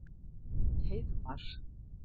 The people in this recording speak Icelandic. Heiðmar